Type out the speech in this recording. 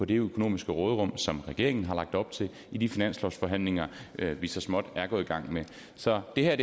det økonomiske råderum som regeringen har lagt op til i de finanslovsforhandlinger vi så småt er gået i gang med så det her